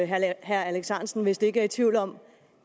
herre alex ahrendtsen vist ikke er i tvivl om